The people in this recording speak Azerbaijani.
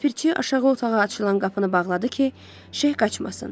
Ləpirçi aşağı otağa açılan qapını bağladı ki, Şex qaçmasın.